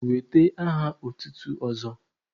Wete aha otutu ọzọ!